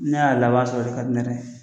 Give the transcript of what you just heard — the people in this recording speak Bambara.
Ni ne y'a laban sɔrɔ, o de ka di ne yɛrɛ ye